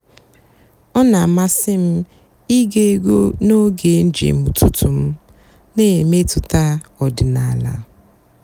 ọ́ nà-àmásị́ m íge ègwú n'óge ǹjéém ụ́tụtụ́ m nà-èmètụ́tà ọ̀dị́náàlà.